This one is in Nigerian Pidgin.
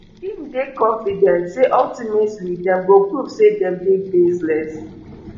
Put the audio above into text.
im dey confident say ultimately dem go prove say dem dey baseless